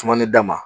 Sumani da ma